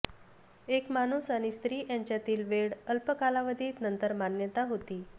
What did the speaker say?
एक माणूस आणि स्त्री यांच्यातील वेळ अल्प कालावधीत नंतर मान्यता होती